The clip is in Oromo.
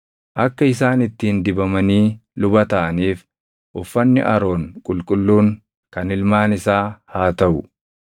“Akka isaan ittiin dibamanii luba taʼaniif uffanni Aroon qulqulluun kan ilmaan isaa haa taʼu.